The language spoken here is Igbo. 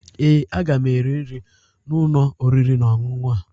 Ee, aga m eri nri n'ụlọ oriri na ọṅụṅụ a